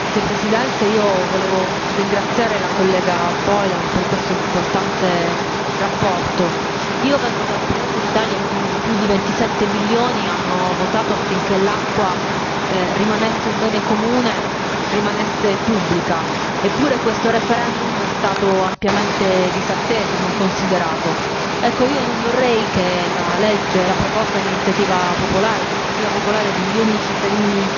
Signora Presidente, onorevoli colleghi, volevo ringraziare la collega Boylan per questa importante relazione. Io vengo da un paese l'Italia, in cui i più di 27 milioni hanno votato affinché l'acqua rimanesse un bene comune, rimanesse pubblica. Eppure questo referendum è stato ampiamente disatteso, non considerato. Ecco, io non vorrei che la legge, la proposta di iniziativa popolare, l'iniziativa popolare di milioni di cittadini